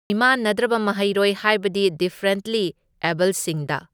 ꯃꯤꯃꯥꯟꯅꯗ꯭ꯔꯕ ꯃꯍꯩꯔꯣꯏ ꯍꯥꯏꯕꯗꯤ ꯗꯤꯐ꯭ꯔꯦꯟꯠꯂꯤ ꯑꯦꯕꯜꯁꯤꯡꯗ꯫